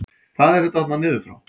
Hvað er þetta þarna niður frá?